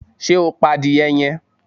Ṣe o pa adiye yẹn?